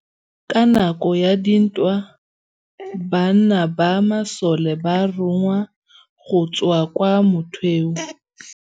Ka nakô ya dintwa banna ba masole ba rongwa go tswa kwa mothêô.